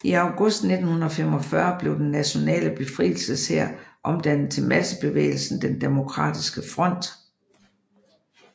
I august 1945 blev Den nationale befrielseshær omdannet til massebevægelsen Den demokratiske Front